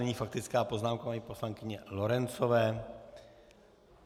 Nyní faktická poznámka paní poslankyně Lorencové.